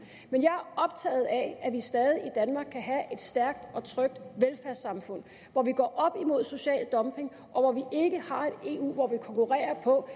men jeg er optaget af at vi stadig i danmark kan have et stærkt og trygt velfærdssamfund hvor vi går op social dumping og hvor vi ikke har et eu hvor vi konkurrerer på